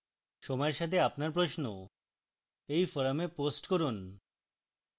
সময়ের সাথে আপনার প্রশ্ন এই forum post করুন